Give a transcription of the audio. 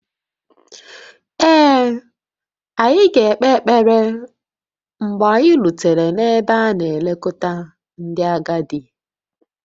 Ee, anyị ga-ekpe ekpere mgbe anyị rutere n'ebe a na-elekọta ndị agadi